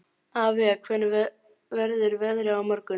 Avía, hvernig verður veðrið á morgun?